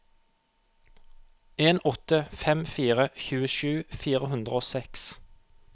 en åtte fem fire tjuesju fire hundre og seks